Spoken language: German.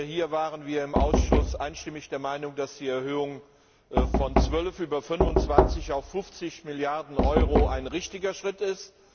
Hierbei waren wir im Ausschuss einstimmig der Meinung, dass die Erhöhung von 12 über 25 auf 50 Milliarden Euro ein richtiger Schritt ist.